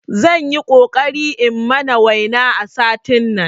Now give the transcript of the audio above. Zanyi ƙoƙari in mana waina a satin nan